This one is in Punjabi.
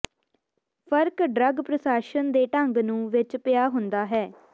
ਫਰਕ ਡਰੱਗ ਪ੍ਰਸ਼ਾਸਨ ਦੇ ਢੰਗ ਨੂੰ ਵਿੱਚ ਪਿਆ ਹੁੰਦਾ ਹੈ